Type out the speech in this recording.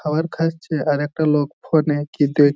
খাবার খাচ্ছে আর একটা লোক ফোন এ কি দেখ--